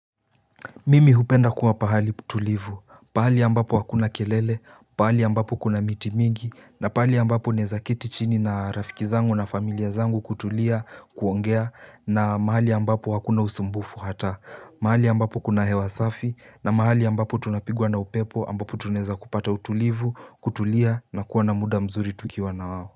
Mimi hupenda kuwa pahali tulivu, pahali ambapo hakuna kelele, pahali ambapo kuna miti mingi, na pahali ambapo ninaweza keti chini na rafiki zangu na familia zangu kutulia, kuongea, na mahali ambapo wakuna usumbufu hata, mahali ambapo kuna hewa safi, na mahali ambapo tunapigwa na upepo ambapo tunaweza kupata utulivu, kutulia, na kuwa na muda mzuri tukiwa na wao.